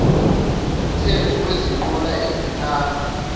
ngumthetho wezinqola ezihamba